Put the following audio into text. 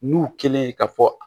N'u kelen ka fɔ